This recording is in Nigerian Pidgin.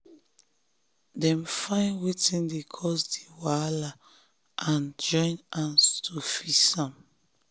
dem find wetin dey cause di wahala and join hand to fix am.